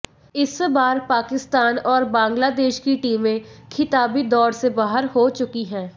इस बार पाकिस्तान और बांग्लादेश की टीमें खिताबी दौड़ से बाहर हो चुकी हैं